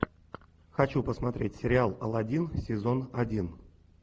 хочу посмотреть сериал аладдин сезон один